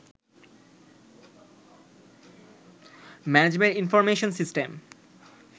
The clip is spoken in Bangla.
management information system